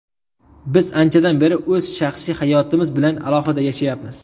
Biz anchadan beri o‘z shaxsiy hayotimiz bilan alohida yashayapmiz.